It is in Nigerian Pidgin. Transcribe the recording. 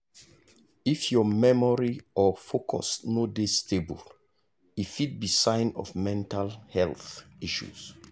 if your memory or focus no dey stable e fit be sign of mental health issue.